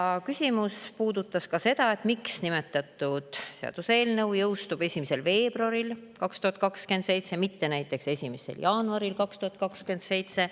Üks küsimus puudutas seda, miks nimetatud seaduseelnõu jõustub 1. veebruaril 2027, mitte näiteks 1. jaanuaril 2027.